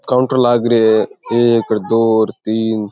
Counter लाग रे है एक दो और तीन।